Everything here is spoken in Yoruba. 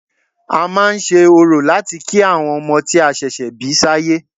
A máa ń ṣe orò láti kí àwọn ọmọ tí a ṣẹ̀ṣẹ̀ bí sáyé